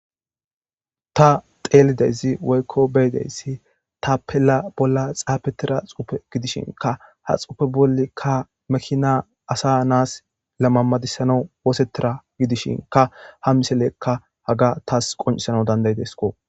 ta xeelideyzi woykko beyideyssi ta pela bolla xaafetira xupe gidishinka ha xuupe bollikka makina asa naas lamammadissana wosetira gidishinka ha miselekka haga taas qoncisana dandaydesko